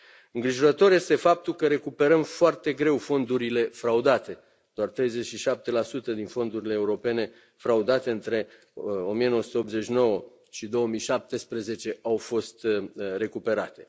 Îngrijorător este faptul că recuperăm foarte greu fondurile fraudate doar 37 din fondurile europene fraudate între 1989 și 2017 au fost recuperate.